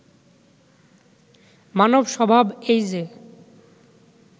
মানব স্বভাব এই যে